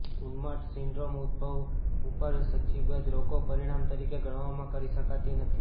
ઉન્માદ syndrome ઉદભવ ઉપર સૂચિબદ્ધ રોગો પરિણામ તરીકે ગણવામાં કરી શકાતી નથી